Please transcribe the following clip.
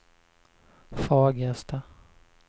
Fagersta